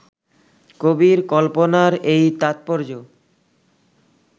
কবির কল্পনার এই তাৎপর্য্য